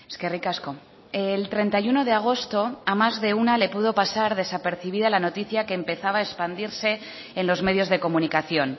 eskerrik asko el treinta y uno de agosto a más de una le pudo pasar desapercibida la noticia que empezaba a expandirse en los medios de comunicación